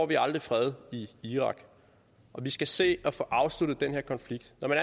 vi aldrig fred i irak og vi skal se at få afsluttet den her konflikt når man